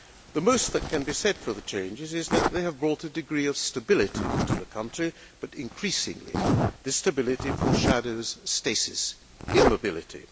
The most that can be said for the changes is that they have brought a degree of stability to the country, but increasingly, this stability foreshadows stasis and immobility.